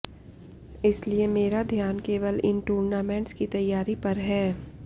इसलिए मेरा ध्यान केवल इन टूर्नामेंट्स की तैयारी पर है